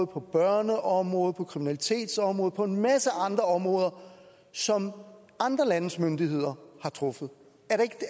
på børneområdet på kriminalitetsområdet og på en masse andre områder som andre landes myndigheder har truffet